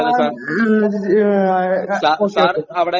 മ്ഹ് ആ ആ okay okay